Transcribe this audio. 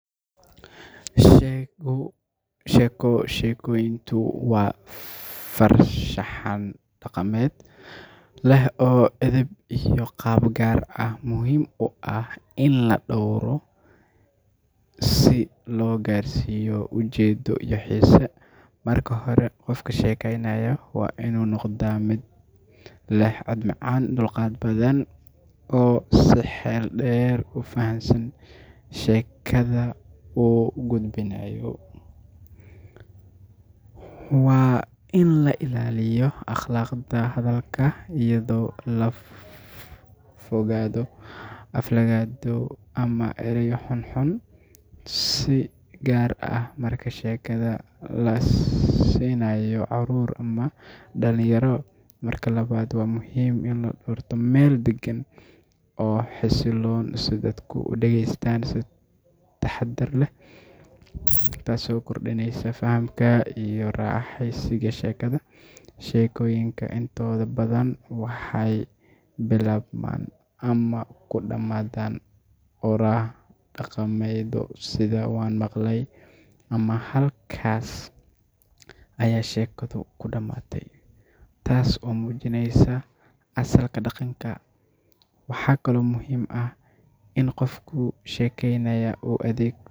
Sheeko sheegistu waa farshaxan dhaqameed leh edeb iyo qaab gaar ah oo muhiim ah in la dhowro si loo gaarsiiyo ujeeddo iyo xiise. Marka hore, qofka sheekaynaya waa inuu noqdaa mid leh cod macaan, dulqaad badan, oo si xeel dheer u fahamsan sheekada uu gudbinayo. Waa in la ilaaliyo akhlaaqda hadalka, iyadoo laga fogaado aflagaado ama erayo xunxun, si gaar ah marka sheekada la siinayo carruur ama dhallinyaro. Marka labaad, waa muhiim in la doorto meel deggan oo xasiloon, si dadku u dhegeystaan si taxaddar leh, taasoo kordhinaysa fahamka iyo raaxaysiga sheekada. Sheekooyinka intooda badan waxay bilaabmaan ama ku dhammaadaan oraah dhaqameedyo sida "waan maqlay" ama "halkaas ayaa sheekadu ku dhammaatay," taas oo muujinaysa asalka dhaqanka. Waxaa kaloo muhiim ah in qofka sheekaynaya uu adeegsado